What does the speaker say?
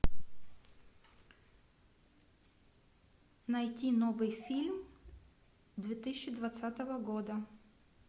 найти новый фильм две тысячи двадцатого года